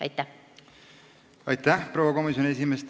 Aitäh, proua komisjoni esimees!